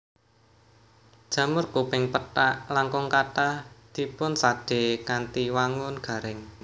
Jamur kuping pethak langkung kathah dipunsadé kanthi wangun garing